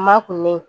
Ma kulen